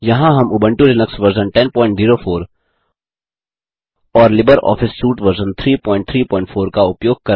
यहाँ हम Ubuntu Linux version 1004 और लिबर ऑफिस सूट वर्जन 334